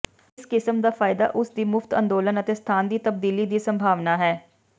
ਇਸ ਕਿਸਮ ਦਾ ਫਾਇਦਾ ਉਸ ਦੀ ਮੁਫ਼ਤ ਅੰਦੋਲਨ ਅਤੇ ਸਥਾਨ ਦੀ ਤਬਦੀਲੀ ਦੀ ਸੰਭਾਵਨਾ ਹੈ